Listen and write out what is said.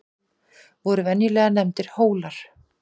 voru venjulega nefndir hólar